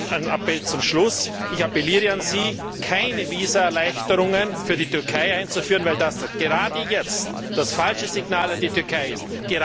Und einen Appell zum Schluss Ich appelliere an Sie, keine Visaerleichterungen für die Türkei einzuführen, weil das gerade jetzt das falsche Signal an die Türkei ist!